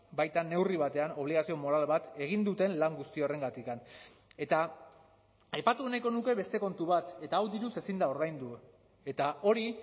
baita neurri batean obligazio moral bat egin duten lan guzti horrengatik eta aipatu nahiko nuke beste kontu bat eta hau diruz ezin da ordaindu eta hori